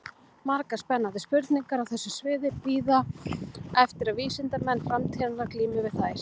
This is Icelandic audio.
Margar spennandi spurningar á þessu sviði bíða eftir að vísindamenn framtíðarinnar glími við þær.